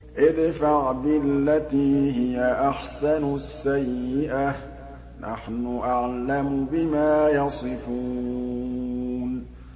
ادْفَعْ بِالَّتِي هِيَ أَحْسَنُ السَّيِّئَةَ ۚ نَحْنُ أَعْلَمُ بِمَا يَصِفُونَ